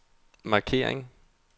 markering